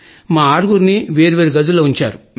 మా ఆరుగురిని వేరు వేరు గదుల్లో ఉంచారు